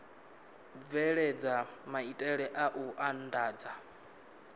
bveledza maitele a u andadza